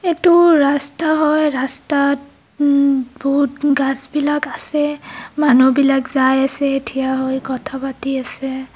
এইটো ৰাস্তা হয় ৰাস্তাত উম বহুত গাছ বিলাক আছে মানুহবিলাক যায় আছে থিয় হৈ কথা পাতি আছে।